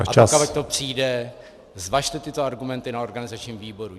A pokud to přijde, zvažte tyto argumenty na organizačním výboru.